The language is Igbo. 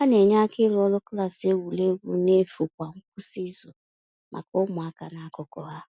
Ha na-enye aka ịrụ ọrụ klaasị egwuregwu n’efu kwa ngwụsị izu maka ụmụaka n’akụkụ ha.